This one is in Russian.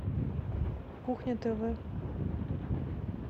кухня тв